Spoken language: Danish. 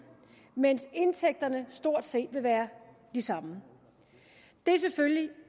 mens indtægterne stort set vil være de samme det er selvfølgelig